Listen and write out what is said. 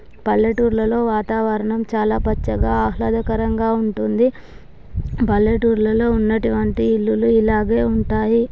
పల్లెటూర్లలో వాతావరణం చాలా పచ్చగా ఆహ్లాదకరంగా ఉంటుంది. పల్లెటూరు లో ఉన్నటి వంటి ఇళ్లులు ఇలాగే ఉంటాయి.